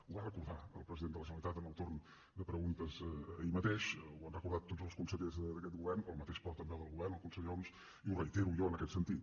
ho va recordar el president de la generalitat en el torn de preguntes ahir mateix ho han recordat tots els consellers d’aquest govern el mateix portaveu del govern el conseller homs i ho reitero jo en aquest sentit